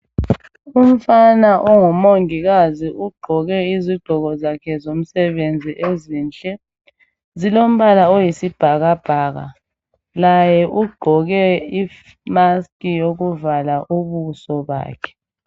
Umfana ongumongikazi ugqoke izigqoko zakhe zomsebenzi ezinhle. Zilo mbala oyisibhakabhaka. Laye ugqoke imaski yokuvala ubuso bakhe.